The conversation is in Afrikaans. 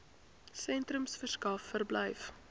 sentrums verskaf verblyf